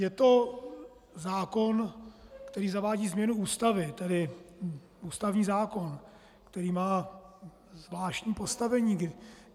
Je to zákon, který zavádí změnu Ústavy, tedy ústavní zákon, který má zvláštní postavení.